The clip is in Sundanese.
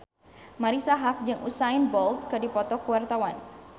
Marisa Haque jeung Usain Bolt keur dipoto ku wartawan